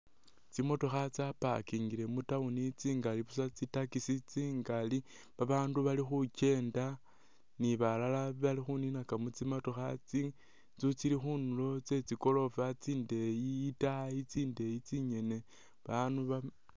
Tsimotokha tsa'parkingle mu town tsingali busa tsi taxi tsingali babandu balikhukyenda ni balala balikhuninaka mutsimotokha tsi tso tsili khundulo tsetsigorofa tsindeyi itaayi tsindeyi tsinyene bandu.